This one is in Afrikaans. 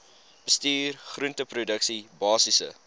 bestuur groenteproduksie basiese